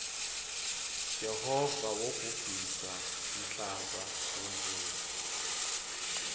jehova wobhubhisa nmhlaba ngemuula